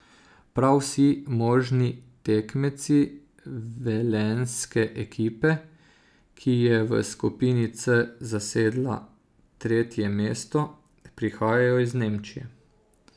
Prav vsi možni tekmeci velenjske ekipe, ki je v skupini C zasedla tretje mesto, prihajajo iz Nemčije.